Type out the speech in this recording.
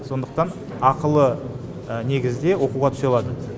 сондықтан ақылы негізде оқуға түсе алады